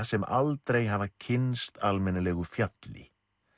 sem aldrei hafa kynnst almennilegu fjalli